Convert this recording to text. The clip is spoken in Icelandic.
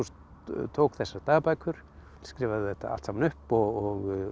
tók þessar dagbækur skrifaði þetta allt saman upp og